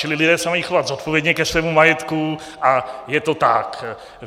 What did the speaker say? Čili lidé se mají chovat zodpovědně ke svému majetku a je to tak.